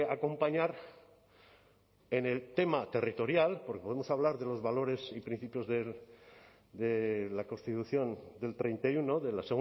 acompañar en el tema territorial porque podemos hablar de los valores y principios de la constitución del treinta y uno de la